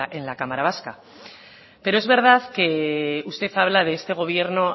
en la cámara vasca pero es verdad que usted habla de este gobierno